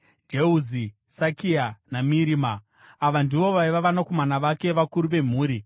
Jeuzi, Sakia naMirima. Ava ndivo vaiva vanakomana vake, vakuru vemhuri.